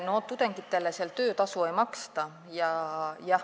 No tudengitele seal töötasu ei maksta.